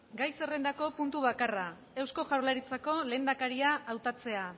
gai zerrendako puntu bakarra eusko jaurlaritzako lehendakaria hautatzea